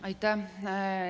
Aitäh!